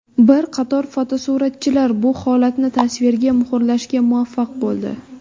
Bir qator fotosuratchilar bu holatni tasvirga muhrlashga muvaffaq bo‘ldi.